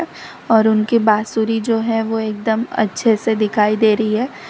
और उनके बासुरी जो है वो एकदम अच्छे से दिखाई दे रही हैं।